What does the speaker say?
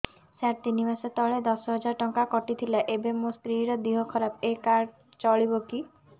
ସାର ତିନି ମାସ ତଳେ ଦଶ ହଜାର ଟଙ୍କା କଟି ଥିଲା ଏବେ ମୋ ସ୍ତ୍ରୀ ର ଦିହ ଖରାପ ଏ କାର୍ଡ ଚଳିବକି